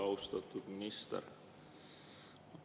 Austatud minister!